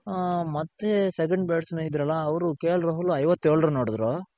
ಹ ಮತ್ತೆ seven bat's man ಇದ್ರಲ್ಲ ಅವ್ರು KL ರಾಹುಲ್ ಐವತ್ತೇಳ run ಹೊಡಿದ್ರು